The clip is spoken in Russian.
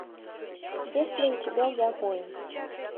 есть ли у тебя я воин